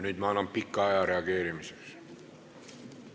Nüüd ma annan pikalt aega reageerimiseks.